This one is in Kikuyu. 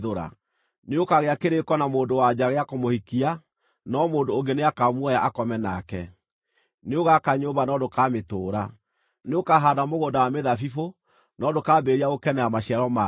Nĩ ũkaagĩa kĩrĩĩko na mũndũ-wa-nja gĩa kũmũhikia, no mũndũ ũngĩ nĩakamuoya akome nake. Nĩũgaka nyũmba no ndũkamĩtũũra. Nĩũkahaanda mũgũnda wa mĩthabibũ no ndũkambĩrĩria gũkenera maciaro mayo.